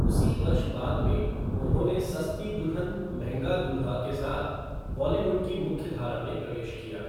उसी वर्ष बाद में, उन्होंने सस्ती दुल्हन महँगा दुल्हा के साथ बॉलीवुड की मुख्यधारा में प्रवेश किया।